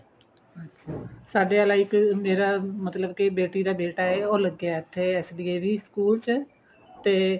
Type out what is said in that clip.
ਅੱਛਾ ਸਾਡੇ ਵਾਲਾ ਇੱਕ ਮੇਰਾ ਮਤਲਬ ਕੀ ਬੇਟੀ ਦਾ ਬੇਟਾ ਏ ਉਹ ਲੱਗਿਆ ਇੱਥੇ SDAV school ਚ ਤੇ